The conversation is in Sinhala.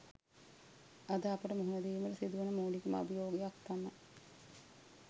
අද අපට මුහුණ දීමට සිදුවන මූලිකම අභියෝගයක් තමයි